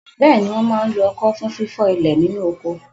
Bẹ́ẹ̀ni, wọ́n máa ń lo ọkọ́ fún fífọ́ ilẹ̀ nínú oko.